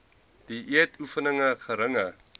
dieet oefening geringe